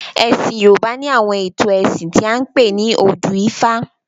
Ẹ̀sìn Yorùbá ni àwọn ètò ẹ̀sìn tí a ń pè ní odù ifá.